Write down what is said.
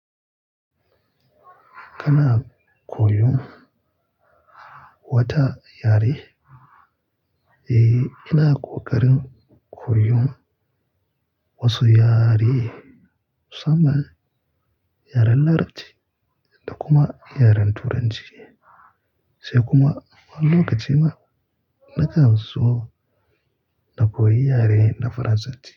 Kana koyon wata yare? Eh, ina kokarin koyon wasu yare, saman yaren Larabci da kuma yaren Turanciya, sai kuma wani lokacin ma na kan so na koyi yare na Farasanci.